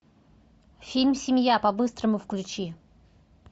фильм семья по быстрому включи